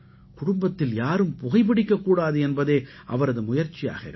குடும்பத்தில் யாரும் புகைபிடிக்கக் கூடாது என்பதே அவரது முயற்சியாக இருக்கும்